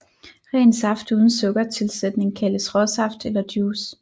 Ren saft uden sukkertilsætning kaldes råsaft eller juice